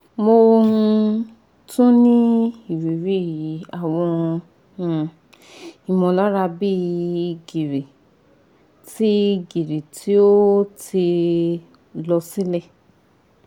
mo um tun ni iriri awọn um imọlara bi giri ti giri ti o ti lọ silẹ